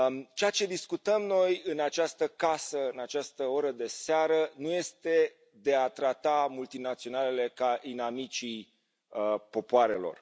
Ceea ce discutăm noi în această casă, la această oră de seară, nu este de a trata multinaționalele ca pe inamicii popoarelor.